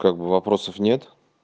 как бы вопросов нет